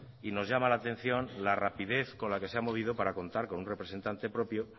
y nos llama la atención la rapidez con la que se ha movido para contar con un representante propio